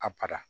A